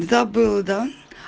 забыла да